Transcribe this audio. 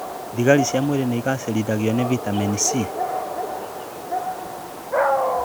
Thigari cia mwĩrĩ igacĩrithagio nĩ vitameni C